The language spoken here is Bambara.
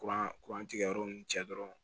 Kuran kuran tigɛ yɔrɔ ninnu cɛ dɔrɔn